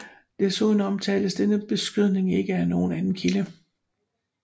Desuden omtales denne beskydning ikke af nogen anden kilde